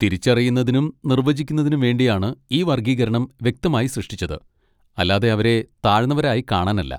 തിരിച്ചറിയുന്നതിനും നിർവചിക്കുന്നതിനും വേണ്ടിയാണ് ഈ വർഗ്ഗീകരണം വ്യക്തമായി സൃഷ്ടിച്ചത്, അല്ലാതെ അവരെ താഴ്ന്നവരായി കാണാനല്ല.